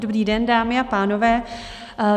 Dobrý den, dámy a pánové.